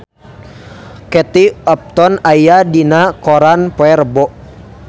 Kate Upton aya dina koran poe Rebo